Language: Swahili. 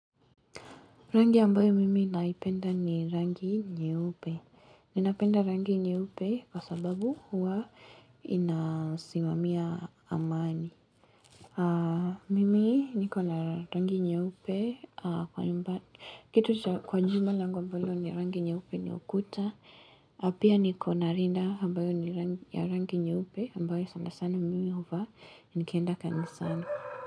Rangi ambayo mimi naipenda ni rangi nyeupe. Ninapenda rangi nyeupe kwa sababu huwa inasimamia amani. Mimi niko na rangi nyeupe kwa nyumba. Kitu kwa nyumba lango mbalo ni rangi nyeupe ni ukuta. Na pia niko na rinda ambayo ni ya rangi nyeupe ambayo sana sana mimi huvaa nikenda kanisani.